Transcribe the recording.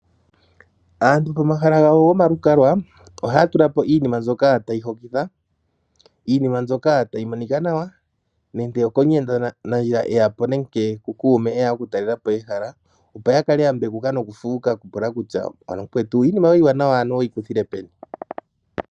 Aantu pomahala gawo gomalukalwa oha ya tulapo iinima mbyoka tayi hokitha, iinima mbyoka tayi monika nawa nande okomuyenda nandjila eyapi nenge ku kuume eya okutalelapo ehala opo yakale ya mbekuka noku fuuka okupula kutya ano mukwetu iinima iiwanawa oweyi kuthile peni.